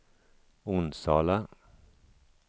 Onsala